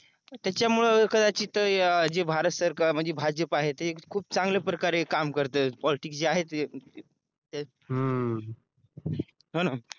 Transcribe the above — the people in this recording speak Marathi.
त्याच्यामुळं कदाचित जे भारत सरकार म्हणजे भाजप आहे ते खूप चांगल्या प्रकारे काम करत पॉलिटिक्स जे आहे ते हो न